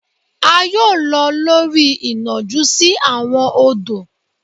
a yoo lọ lori inọju si awọn odò.